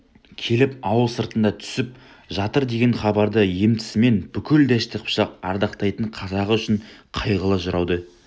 келіп ауыл сыртында түсіп жатырдеген хабарды естісімен бүкіл дәшті қыпшақ ардақтайтын қазағы үшін қайғылы жырауды